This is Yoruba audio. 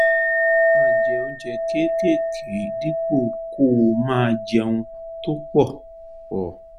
máa jẹ oúnjẹ kéékèèké dípò kó o máa jẹ oúnjẹ tó pọ̀ pọ̀